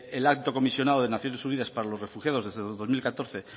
el alto comisionado de naciones unidas para los refugiados desde dos mil catorce